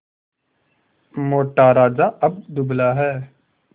मोटा राजा अब दुबला है